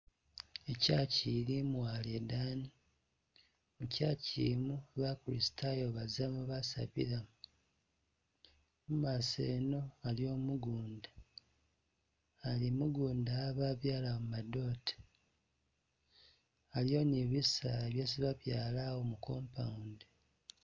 I'church ili mwaalo idaani, i'church i'no ba'kristayo bazamo basabila mo, mumaaso eno aliwo mugunda, ali mugunda a babyalawo madote, aliwo ni'bisaala byesi babyalawo mu compound.